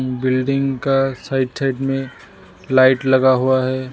Building का side side में light लगा हुआ है।